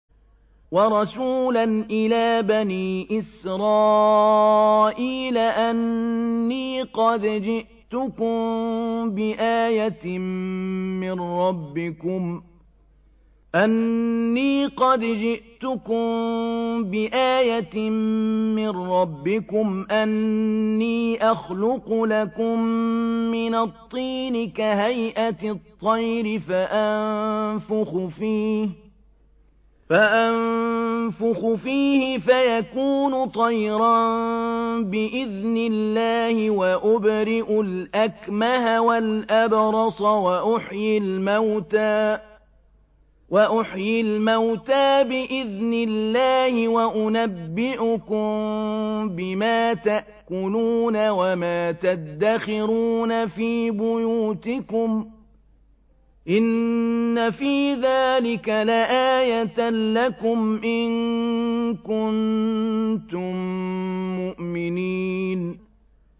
وَرَسُولًا إِلَىٰ بَنِي إِسْرَائِيلَ أَنِّي قَدْ جِئْتُكُم بِآيَةٍ مِّن رَّبِّكُمْ ۖ أَنِّي أَخْلُقُ لَكُم مِّنَ الطِّينِ كَهَيْئَةِ الطَّيْرِ فَأَنفُخُ فِيهِ فَيَكُونُ طَيْرًا بِإِذْنِ اللَّهِ ۖ وَأُبْرِئُ الْأَكْمَهَ وَالْأَبْرَصَ وَأُحْيِي الْمَوْتَىٰ بِإِذْنِ اللَّهِ ۖ وَأُنَبِّئُكُم بِمَا تَأْكُلُونَ وَمَا تَدَّخِرُونَ فِي بُيُوتِكُمْ ۚ إِنَّ فِي ذَٰلِكَ لَآيَةً لَّكُمْ إِن كُنتُم مُّؤْمِنِينَ